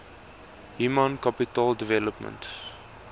human capital development